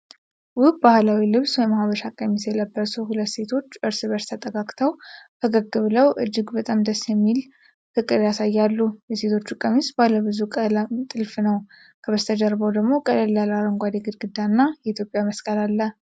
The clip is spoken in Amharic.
ውብ ባህላዊ ልብስ (ሐበሻ ቀሚስ) የለበሱ ሁለት ሴቶች እርስ በእርሳቸው ተጠግተው፣ ፈገግ ብለው እጅግ በጣም ደስ የሚል ፍቅር ያሳያሉ። የሴቶቹ ቀሚስ ባለብዙ ቀለም ጥልፍ ነው። ከበስተጀርባው ደግሞ ቀለል ያለ አረንጓዴ ግድግዳ እና የኢትዮጵያ መስቀል አለ።